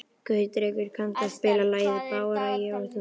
Gautrekur, kanntu að spila lagið „Bara ég og þú“?